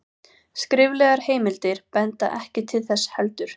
skriflegar heimildir benda ekki til þess heldur